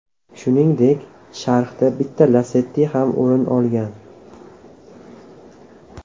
Shuningdek, sharhdan bitta Lacetti ham o‘rin olgan.